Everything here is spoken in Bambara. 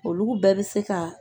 Olu bɛɛ bɛ se ka